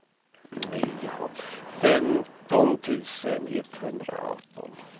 femton tusen etthundraarton